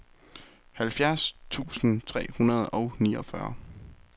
halvfjerds tusind tre hundrede og niogfyrre